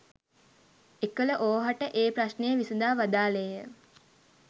එකළ ඕහට ඒ ප්‍රශ්නය විසදා වදාළේ ය.